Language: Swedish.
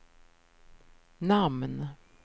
namn